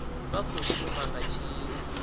vha khou shuma nga tshino